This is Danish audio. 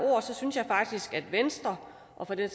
synes jeg faktisk at venstre og for den